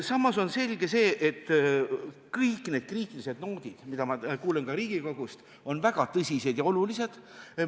Samas on selge, et kõik need kriitilised noodid, mida ma kuulen Riigikogust, on väga tõsised ja olulised.